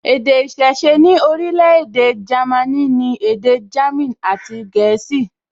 Èdè ìṣiṣẹ́ ní orílẹ̀-èdè Jámínì ni èdè jámìn àti gẹ̀ẹ́sì